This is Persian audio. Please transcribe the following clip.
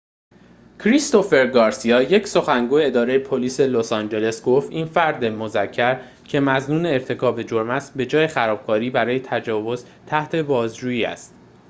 کریستوفر گارسیا یک سخنگوی اداره پلیس لس‌آنجلس گفت این فرد مذکر که مظنون ارتکاب جرم است به‌جای خرابکاری برای تجاوز تحت بازجویی است